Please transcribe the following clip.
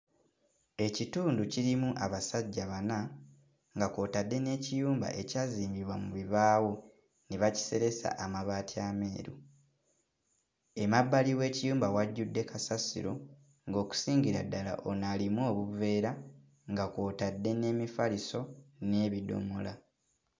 Ekitundu kirimu abasajja bana nga kw'otadde n'ekiyumba ekyazimbibwa mu bibaawo ne bakiseresa amabaati ameeru, emabbali w'ekiyumba wajjudde kasasiro ng'okusingira ddala ono alimu obuveera nga kw'otadde n'emifaliso n'ebidomola.